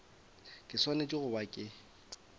ke swanetše go ba ke